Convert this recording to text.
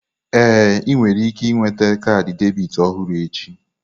Ee, ị nwere ike nweta kaadị debit ọhụrụ echi.